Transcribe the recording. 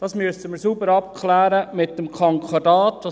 Das müssen wir mit dem Konkordat sauber abklären.